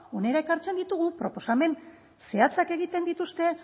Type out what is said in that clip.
hona ekartzen ditugu proposamen zehatzak egiten dituzte